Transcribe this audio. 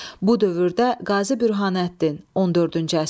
Bu dövrdə Qazi Bürhanəddin, 14-cü əsr.